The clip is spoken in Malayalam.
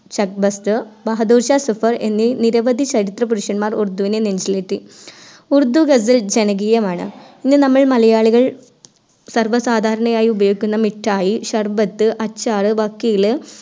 ശക്‌ബസ്റ്റർ ബഹദൂർഷാ സഫർ എന്നീ നിരവധി ചരിത്ര പരുഷന്മാർ ഉറുദുവിനെ നെഞ്ചിലേറ്റി ഉറുദു ഗസൽ ജനകീയമാണ് ഇന്ന് നമ്മൾ മലയാളികൾ സർവ്വ സാധാരണയായി ഉപയോഗിക്കുന്ന മിട്ടായി ശർബത്ത് അച്ചാറ് വക്കില്